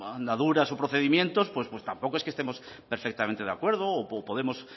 andaduras o procedimientos pues tampoco es que estemos perfectamente de acuerdo o podemos